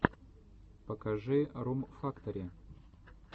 покажи рум фактори